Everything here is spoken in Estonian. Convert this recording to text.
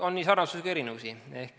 On nii sarnasusi kui ka erinevusi.